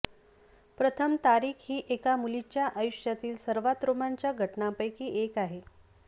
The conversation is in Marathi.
प्रथम तारीख ही एका मुलीच्या आयुष्यातील सर्वात रोमांचक घटनांपैकी एक आहे